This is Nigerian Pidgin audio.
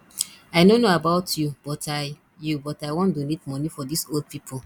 i no know about you but i you but i wan donate money for dis old people